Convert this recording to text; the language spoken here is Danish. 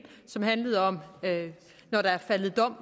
handlede om at der var faldet dom